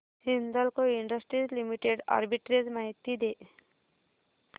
Hindalco industries limited arbitrage माहिती दे